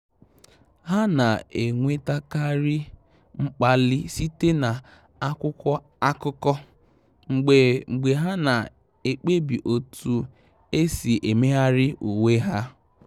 Há nà-ènwétákàrị́ mkpàlị́ site na ákwụ́kwọ́ ákụ́kọ́, mgbe mgbe há nà-èkpebi otu ésí émégharị uwe há.